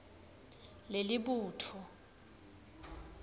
lelibutfo